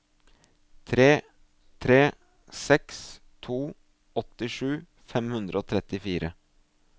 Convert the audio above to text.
tre tre seks to åttisju fem hundre og trettifire